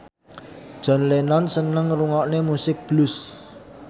John Lennon seneng ngrungokne musik blues